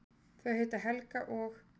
Þau heita Helga og